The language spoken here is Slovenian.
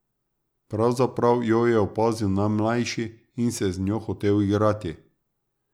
Pravzaprav jo je opazil najmlajši in se z njo hotel igrati.